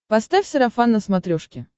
поставь сарафан на смотрешке